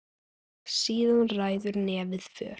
Síðan ræður nefið för.